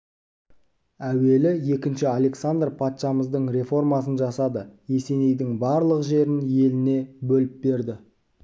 әуелі екінші александр патшамыздың реформасын жасады есенейдің барлық жерін еліне бөліп берді